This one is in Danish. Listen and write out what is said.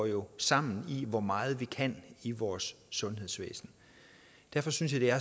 jo går sammen i forhold til hvor meget vi kan i vores sundhedsvæsen derfor synes jeg